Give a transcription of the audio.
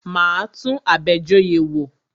Máa tún Abejoye wò.